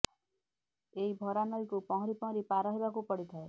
ଏହି ଭରା ନଈକୁ ପହଁରି ପହଁରି ପାର ହେବାକୁ ପଡିଥାଏ